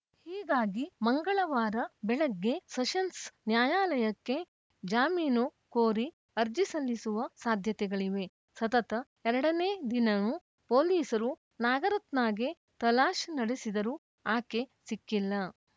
ಹೀಗಾಗಿ ಮಂಗಳವಾರ ಬೆಳಗ್ಗೆ ಸೆಷನ್ಸ್‌ ನ್ಯಾಯಾಲಯಕ್ಕೆ ಜಾಮೀನು ಕೋರಿ ಅರ್ಜಿ ಸಲ್ಲಿಸುವ ಸಾಧ್ಯತೆಗಳಿವೆ ಸತತ ಎರಡು ನೇ ದಿವನೂ ಪೊಲೀಸರು ನಾಗರತ್ನಾಗೆ ತಲಾಶ್‌ ನಡೆಸಿದರೂ ಆಕೆ ಸಿಕ್ಕಿಲ್ಲ